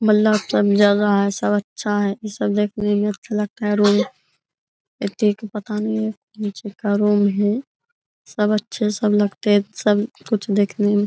मतलब सब जगह है। सब अच्छा है सब देखने में अच्छा लगता है। रूम निचे का रूम है सब अच्छे सब लगते हैं सब कुछ देखने में --